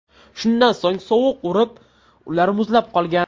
Shundan so‘ng sovuq urib, ular muzlab qolgan.